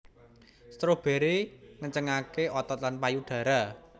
Strawberry ngencengaké otot lan payudara